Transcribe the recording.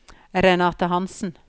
Renate Hanssen